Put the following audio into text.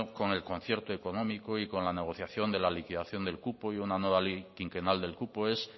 con el concierto económico y con la negociación de la liquidación del cupo y una nueva ley quinquenal del cupo es